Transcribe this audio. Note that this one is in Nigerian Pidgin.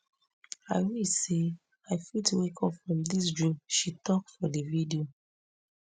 i wish say i fit wake up from dis dream she tok for di video